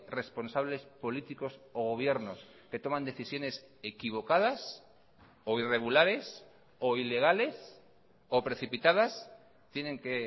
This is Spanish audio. responsables políticos o gobiernos que toman decisiones equivocadas o irregulares o ilegales o precipitadas tienen que